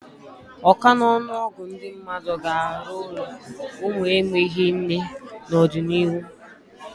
Ọka n'ọnụ ọgụ ndị mmadụ ga-arụ ụlọ ụmụ enweghị nne n'ọdịnihu.